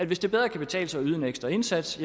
hvis det bedre kan betale sig at yde en ekstra indsats